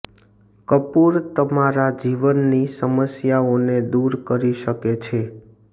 કપૂર તમારા જીવનની સમસ્યાઓને દૂર કરી શકે છે